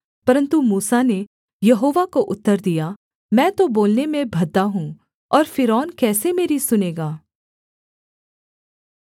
परन्तु मूसा ने यहोवा को उत्तर दिया मैं तो बोलने में भद्दा हूँ और फ़िरौन कैसे मेरी सुनेगा